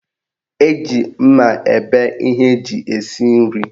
Eji mma ebe ihe eji esi nri